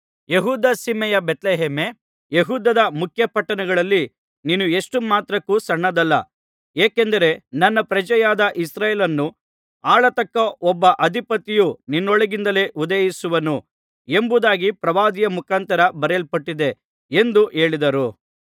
ಯೆಹೂದ ಸೀಮೆಯ ಬೇತ್ಲೆಹೇಮೇ ಯೆಹೂದದ ಮುಖ್ಯಪಟ್ಟಣಗಳಲ್ಲಿ ನೀನು ಎಷ್ಟು ಮಾತ್ರಕ್ಕೂ ಸಣ್ಣದಲ್ಲ ಏಕೆಂದರೆ ನನ್ನ ಪ್ರಜೆಯಾದ ಇಸ್ರಾಯೇಲನ್ನು ಆಳತಕ್ಕ ಒಬ್ಬ ಅಧಿಪತಿಯು ನಿನ್ನೊಳಗಿಂದಲೇ ಉದಯಿಸುವನು ಎಂಬುದಾಗಿ ಪ್ರವಾದಿಯ ಮುಖಾಂತರ ಬರೆಯಲ್ಪಟಿದೆ ಎಂದು ಹೇಳಿದರು